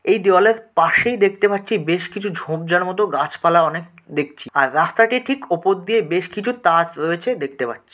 এই দেওয়ালের পাশেই দেখতে পাচ্ছি বেশ কিছু ঝোপঝাড় মত গাছপালা অনেক দেখছি আর রাস্তাটি ঠিক উপর দিয়ে বেশ কিছু তাজ রয়েছে দেখতে পাচ্ছি।